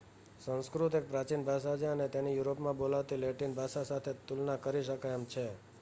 સંસ્કૃત એક પ્રાચીન ભાષા છે અને તેની યુરોપમાં બોલાતી લેટિન ભાષા સાથે તુલના કરી શકાય એમ છે